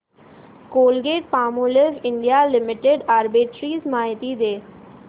Colgate Palmolive India limited arbitrage माहिती दे